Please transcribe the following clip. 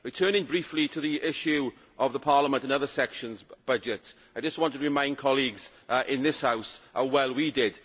Returning briefly to the issue of Parliament's and the other sections budgets, I just want to remind colleagues in this House how well we did.